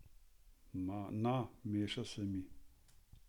Na, meša se mi.